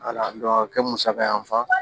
a kɛ musaka y'an fa